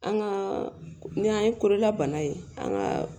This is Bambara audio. An ka ni an ye kololabana ye an ka